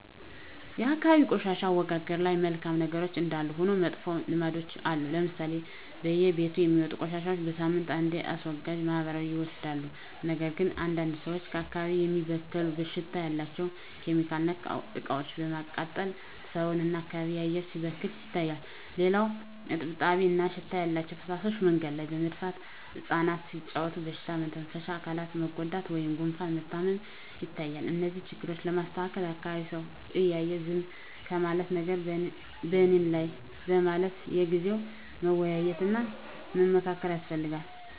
የአካባቢ የቆሻሻ አወጋገድ ላይ መልካም ነገሮች እንዳሉ ሁሉ መጥፎ ልምዶችም አሉ ለምሳሌ በየቤቱ የሚወጡ ቆሻሻዎች በሳምንት አንዴ አስወጋጅ ማህበራት ይወስዱታል ነገር ግን አንዳንድ ሰዎች አካባቢን የሚበክል ሽታ ያላቸው (ኬሚካል)ነክ እቃዎችን በማቃጠል ሰውን እና የአካባቢ አየር ሲበከል ይታያል። ሌላው እጥብጣቢ እና ሽታ ያላቸው ፍሳሾች መንገድ ላይ በመድፋት እፃናት ሲጫዎቱ በሽታ መተንፈሻ አካላት መጎዳት ወይም ጉፋን መታመም ይታያል። እነዚህን ችግሮች ለማስተካከል የአካቢዉ ሰው እያየ ዝም ከማለት ነገም በኔነው በማለት በየጊዜው መወያየት እና መመካከር ያስፈልጋል።